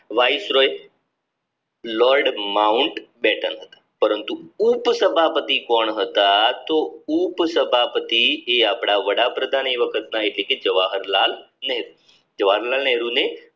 viceroy Lord Mountbatten પરંતુ ઉપસભાપતિ કોણ હતા તો ઉપસભાપતિ એ આપણા વડાપ્રધાન એ વખતના એટલે કે જવાહરલાલ નેહરુ ને